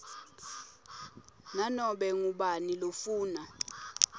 nanobe ngubani lofuna